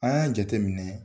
An y'a jate minɛ